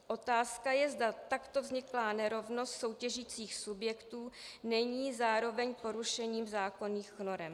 Otázka je, zda takto vzniklá nerovnost soutěžících subjektů není zároveň porušením zákonných norem.